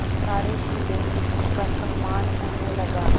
सारे जिले में उनका सम्मान होने लगा